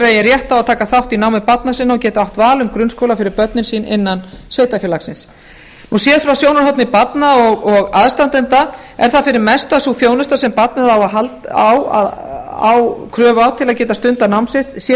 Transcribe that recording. eigi rétt á að taka þátt í námi barna sinna og geti átt val um grunnskóla fyrir börnin sín innan sveitarfélagsins síðast var sjónarhorn barna og aðstandenda er þar fyrir mestu að sú þjónusta sem barnið á kröfu á til að geta stundað nám sitt sé